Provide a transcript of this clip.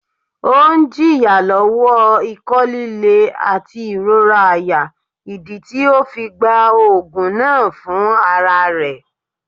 Ọun ń jìyà lówò iko lílé àti ìrora àyà, ìdí tí ọ fí gbá òògùn náà fún àrà rẹ̀